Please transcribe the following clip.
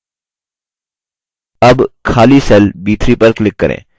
अब खाली cell b3 पर click करें